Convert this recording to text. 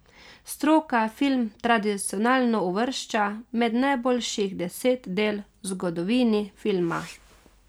Stroka film tradicionalno uvršča med najboljših deset del v zgodovini filma.